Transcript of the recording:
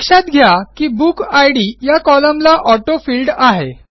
लक्षात घ्या की बुकिड या कॉलमला ऑटोफिल्ड आहे